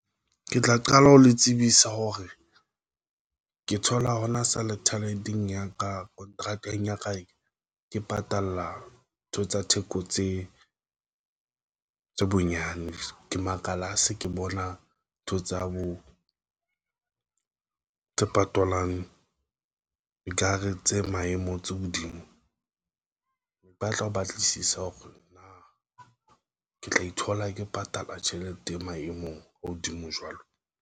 Ke tla qala ho le tsebisa hore ke thola hona satellite eng ya ka kontrakeng ya ka e ke patalla ntho tsa theko tse bonyane ke makala, a se ke bona ntho tsa bo tse patalang dikahare tse maemo tse hodimo empa a tla ho batlisisa hore na ke tla ithola ke patala tjhelete e maemong a hodimo jwalo.